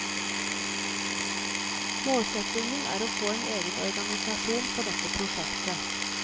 Målsetningen er å få en egen organisasjon for dette prosjektet.